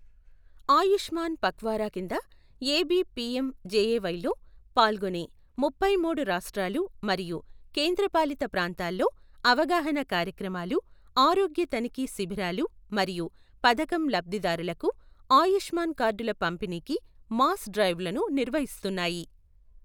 ఆయుష్మాన్ పఖ్వారా కింద AB PM జేఎవైలో పాల్గొనే ముప్పై మూడు రాష్ట్రాలు మరియు కేంద్రపాలిత ప్రాంతాల్లో అవగాహన కార్యక్రమాలు, ఆరోగ్య తనిఖీ శిబిరాలు మరియు పథకం లబ్ధిదారులకు ఆయుష్మాన్ కార్డుల పంపిణీకి మాస్ డ్రైవ్లను నిర్వహిస్తున్నాయి.